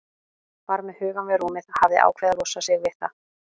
Var með hugann við rúmið, hafði ákveðið að losa sig við það.